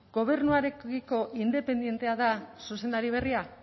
gobernuarekiko independentea da zuzendari berria